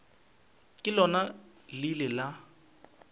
ka lona le ile la